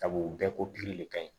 Sabu u bɛɛ ko gili de ka ɲi